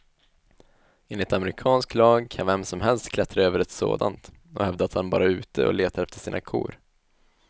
Enligt amerikansk lag kan vem som helst klättra över ett sådant och hävda att han bara är ute och letar efter sina kor.